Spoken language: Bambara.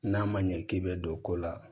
N'a ma ɲɛ k'i bɛ don ko la